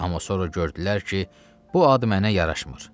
Amma sonra gördülər ki, bu ad mənə yaraşmır.